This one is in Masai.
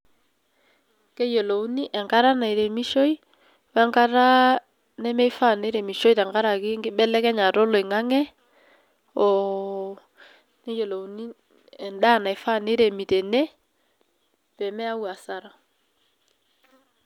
Keyiolouni enkata nairemishoi we nkata nemeifaa neiremishoi tenkaraki enkibelekenyata oloingang'e, oo neyiolouni endaa naifaa niremi tene pee meyau asara.